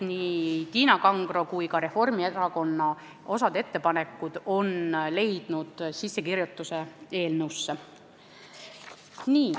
Nii Tiina Kangro kui ka Reformierakonna osa ettepanekuid on kirjutatud eelnõusse.